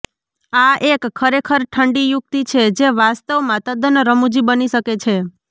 આ એક ખરેખર ઠંડી યુક્તિ છે જે વાસ્તવમાં તદ્દન રમૂજી બની શકે છે